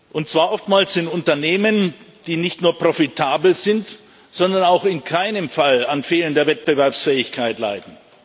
Und zwar oftmals in Unternehmen, die nicht nur profitabel sind, sondern auch in keinem Fall unter fehlender Wettbewerbsfähigkeit leiden.